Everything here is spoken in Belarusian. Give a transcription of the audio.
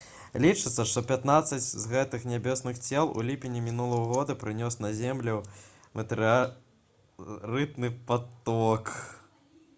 лічыцца што пятнаццаць з гэтых нябесных цел у ліпені мінулага года прынёс на зямлю метэарытны паток